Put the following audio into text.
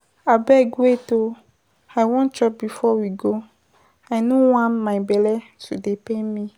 Abeg wait oo, I wan chop before we go, I no wan my bele to dey pain me.